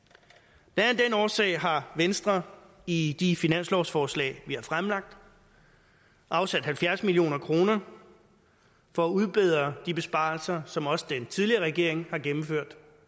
blandt af årsag har venstre i de finanslovsforslag vi har fremlagt afsat halvfjerds million kroner for at udbedre de besparelser som også den tidligere regering har gennemført